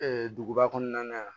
duguba kɔnɔna na yan